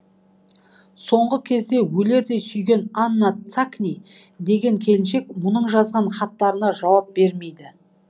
соңғы кезде өлердей сүйген анна цакни деген келіншек мұның жазған хаттарына жауап бермейді